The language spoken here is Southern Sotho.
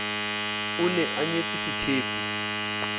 o ne a nyetse sethepu